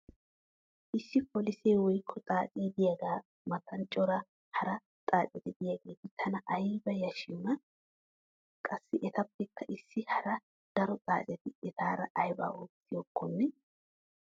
Issi polisee woykko xaacee diyaagaa matan cora hara xaaceti diyaageeti tana aybba yashiyoonaa? Qassi etappekka issi hara daro xaaceti etaara aybaa ootiyakoonnne?